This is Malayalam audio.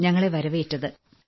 ളാണ് ഞങ്ങളെ വരവേറ്റത്